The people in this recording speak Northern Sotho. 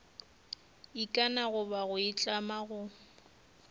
ikana goba go itlama go